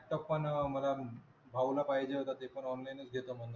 आता पण मला भाऊला पाहिजे होता ते पण online च घेतो म्हणजे.